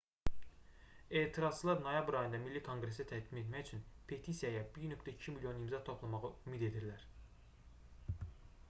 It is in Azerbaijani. etirazçılar noyabr ayında milli konqresə təqdim etmək üçün petisiyaya 1,2 milyon imza toplamağı ümid edirlər